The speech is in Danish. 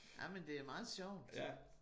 Ej men det er meget sjovt